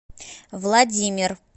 владимир